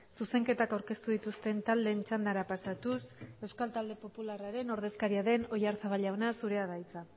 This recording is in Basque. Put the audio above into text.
zuzenketak aurkeztu dituzten taldeen txandara pasatuz euskal talde popularraren ordezkaria den oyarzabal jauna zurea da hitza